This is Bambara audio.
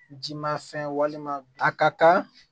Jimafɛn walima a ka kan